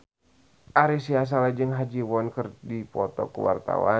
Ari Sihasale jeung Ha Ji Won keur dipoto ku wartawan